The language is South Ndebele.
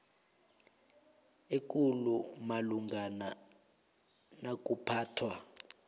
ekulu malungana nokuphathwa